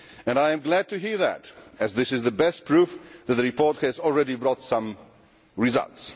I am glad to hear that, as it is the best proof that the report has already brought some results.